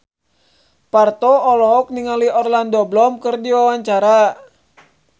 Parto olohok ningali Orlando Bloom keur diwawancara